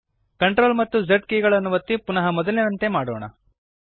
CTRL ಮತ್ತು Z ಕೀಲಿಗಳನ್ನು ಒತ್ತಿ ಪುನಃ ಮೊದಲಿನಂತೆಯೇ ಮಾಡೋಣ